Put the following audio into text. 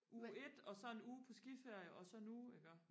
uge et og så en uge på skiferie og så nu iggå